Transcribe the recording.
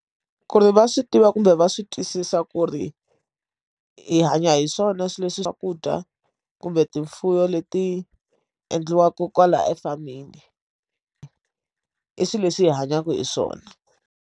Ku ri va swi tiva kumbe va swi twisisa ku ri hi hanya hi swona swilo leswi hi swakudya kumbe timpfula leti endliwaka kwala e farming i swilo leswi hi hanyaka hi swona.